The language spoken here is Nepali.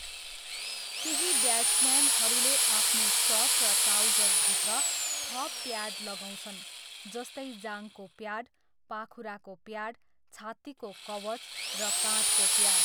केही ब्याट्सम्यानहरूले आफ्नो सर्ट र ट्राउजरभित्र थप प्याड लगाउँछन् जस्तै जाँघको प्याड, पाखुराको प्याड, छात्तीको कवच र काँधको प्याड।